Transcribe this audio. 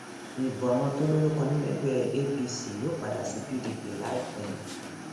ibo àwọn tó lórúkọ nínú ẹgbẹ apc yóò padà sí pdp láìpẹ